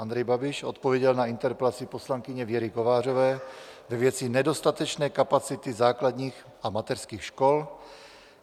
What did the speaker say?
Andrej Babiš odpověděl na interpelaci poslankyně Věry Kovářové ve věci nedostatečné kapacity základních a mateřských škol.